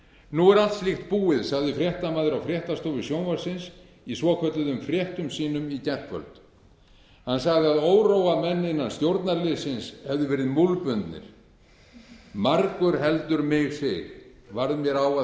nú er allt slíkt búið sagði fréttamaður á fréttastofu sjónvarpsins í svokölluðum fréttum sínum í gærkvöld hann sagði að óróamenn innan stjórnarliðsins hefðu verið múlbundnir margur heldur mig sig varð mér á að